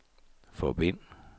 forbind